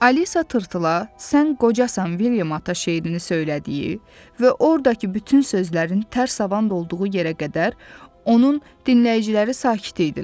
Alisa tırtıla, "Sən qocasan, Vilyam ata" şeirini söylədiyi və ordakı bütün sözlərin tərs havanda olduğu yerə qədər onun dinləyiciləri sakit idilər.